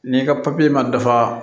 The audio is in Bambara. N'i ka papiye ma dafa